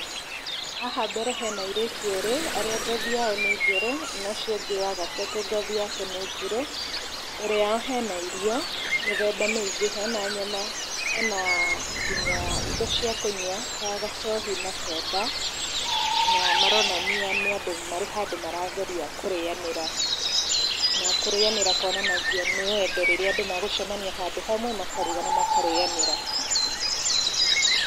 Haha mbere hena airĩtu erĩ arĩa ngothi yao nĩ njerũ , na ũcio ũngĩ wa gatatũ ngothi yake nĩ njirũ, mbere yao hena irio , mĩthemba mĩingĩ hena nyama, hena nginya indo cia kũnyua ta gacohi na Soda, na maronania nĩ andũ marĩ handũ marageria kũrĩanĩra, na kũrĩanĩra kwonanagia nĩ wendo rĩrĩa andũ megũcemania handũ hamwe makaruga na makarĩanĩra.